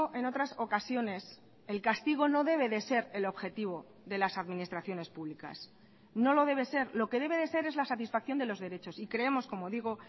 en otras ocasiones el castigo no debe de ser el objetivo de las administraciones públicas no lo debe ser lo que debe de ser es la satisfacción de los derechos y creemos como digo